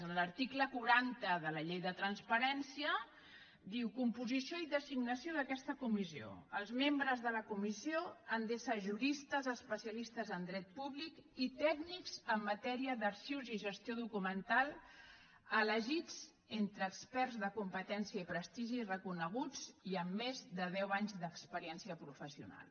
en l’article quaranta de la llei de transparència diu composició i designació d’aquesta comissió els membres de la comissió han d’ésser juristes especialistes en dret públic i tècnics en matèria d’arxius o gestió documental elegits entre experts de competència i prestigi reconeguts i amb més de deu anys d’experiència professional